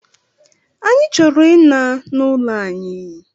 Anyị chọrọ ina n'ụlọ anyị